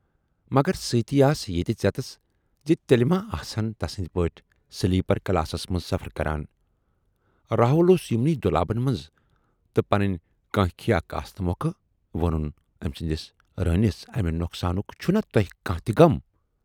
مگر سۭتی آس یہِ تہِ ژٮ۪تس زِ تیلہِ ما آسہٕ ہَن تسٕندۍ پٲٹھۍ سِلیپر کلاسس منز سفر کران، راہُل اوس یِمنٕے دۅلابن منز تہٕ پنٕنۍ کٲنکھیا کاسنہٕ مۅکھٕ وونُن ٲمۍ سندِس روٗنِس امہِ نۅقصانُک چھُنا تۅہہِ کانہہ تہِ غم؟